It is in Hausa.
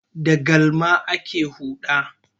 Da galma ake huɗa.